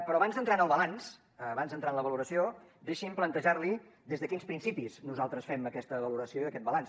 però abans d’entrar en el balanç abans d’entrar en la valoració deixi’m plantejar li des de quins principis nosaltres fem aquesta valoració i aquest balanç